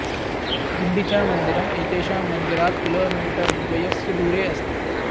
गुण्डिचा मन्दिरम् एतेषां मन्दिरात् किलोमीटर् द्वयस्य दूरे अस्ति